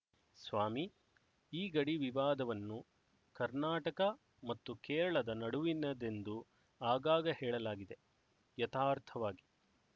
ಸ್ವಾಮಿ ಈ ಗಡಿ ವಿವಾದವನ್ನು ಕರ್ನಾಟಕ ಮತ್ತು ಕೇರಳದ ನಡುವಿನದೆಂದು ಆಗಾಗ ಹೇಳಲಾಗಿದೆ ಯಥಾರ್ಥವಾಗಿ